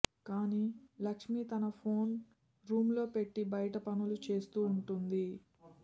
కానీ లక్ష్మీ తన phone room లో పెట్టి బయట పనులు చేస్తూ ఉంటుంది